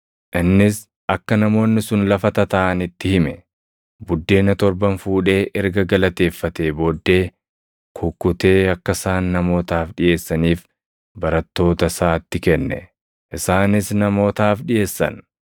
Innis akka namoonni sun lafa tataaʼan itti hime. Buddeena torban fuudhee erga galateeffatee booddee kukkutee akka isaan namootaaf dhiʼeessaniif barattoota isaatti kenne; isaanis namootaaf dhiʼeessan.